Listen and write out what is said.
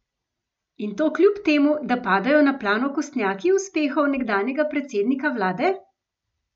In to kljub temu, da padajo na plan okostnjaki uspehov nekdanjega predsednika vlade?